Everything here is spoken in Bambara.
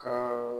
Ka